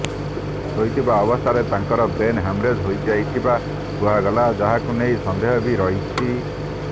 ଶୋଇଥିବା ଅବସ୍ଥାରେ ତାଙ୍କର ବ୍ରେନ ହ୍ୟାମରେଜ ହୋଇଥିବା କୁହାଗଲା ଯାହାକୁ ନେଇ ସନ୍ଦେହ ବି ରହିଛି